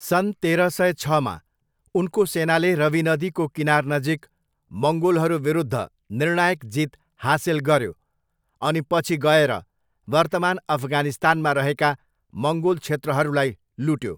सन् तेह्र सय छमा, उनको सेनाले रवी नदीको किनारनजिक मङ्गोलहरू विरुद्ध निर्णायक जीत हासिल गऱ्यो अनि पछि गएर वर्तमान अफगानिस्तानमा रहेका मङ्गोल क्षेत्रहरूलाई लुट्यो।